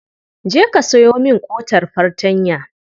Je ka sayo min ƙotar fartanya.